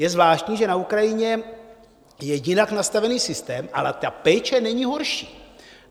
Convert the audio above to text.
Je zvláštní, že na Ukrajině je jinak nastavený systém, ale ta péče není horší.